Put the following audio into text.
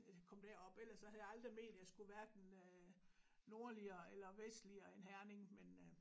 At jeg kom derop ellers så havde jeg aldrig ment jeg skulle hverken øh nordligere eller vestligere end Herning men øh